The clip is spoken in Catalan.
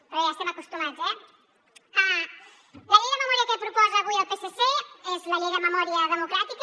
però bé ja hi estem acostumats eh la llei de memòria que proposa avui el psc és la llei de memòria democràtica